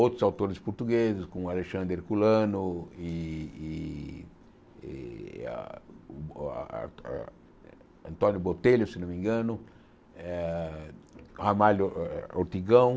Outros autores portugueses, como Alexandre Herculano e e e a a Antônio Botelho, se não me engano, eh eh Ramalho eh Ortigão.